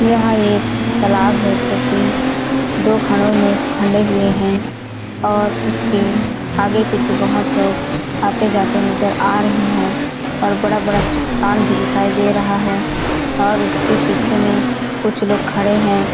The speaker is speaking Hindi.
यह एक तालाब है जोकी दो खड़ो में खण्डे हुए है और उसके आगे पीछे बोहोत लोग आते जाते है नजर आ रहे है और बड़ा -बड़ा चट्टान भी दिखाई दे रहा है और उसके पीछे में कुछ लोग खड़े हैं।